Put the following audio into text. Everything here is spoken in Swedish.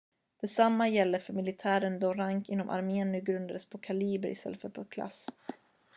detsamma gäller för militären då rank inom armén nu grundades på kaliber istället för på klass